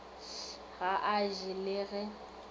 ga a je le ge